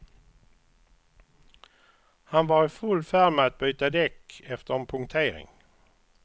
Han var i full färd med att byta däck efter en punktering.